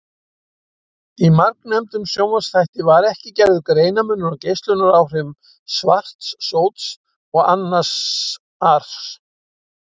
Í margnefndum sjónvarpsþætti var ekki gerður greinarmunur á geislunaráhrifum svarts sóts og annars ars.